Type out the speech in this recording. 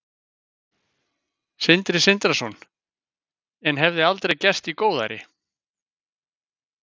Sindri Sindrason: En hefði aldrei gerst í góðæri?